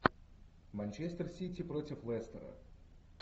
манчестер сити против лестера